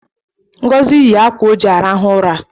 Ngozi yi akwa o ji arahụ ụra